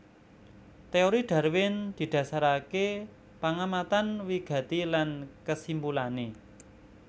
Téori Darwin didhasaraké pangamatan wigati lan kesimpulané